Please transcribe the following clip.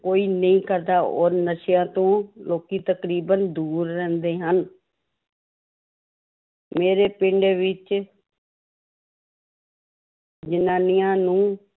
ਕੋਈ ਨਹੀਂ ਕਰਦਾ ਔਰ ਨਸ਼ਿਆਂ ਤੋਂ ਲੋਕੀ ਤਕਰੀਬਨ ਦੂਰ ਰਹਿੰਦੇ ਹਨ ਮੇਰੇ ਪਿੰਡ ਵਿੱਚ ਜ਼ਨਾਨੀਆਂ ਨੂੰ